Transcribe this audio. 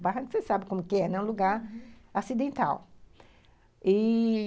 O barranco, você sabe como que é, né, uhum, um lugar acidental. E...